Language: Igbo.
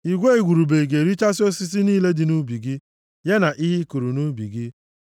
Igwe igurube ga-erichasị osisi niile dị nʼubi gị, ya na ihe ị kụrụ nʼubi gị.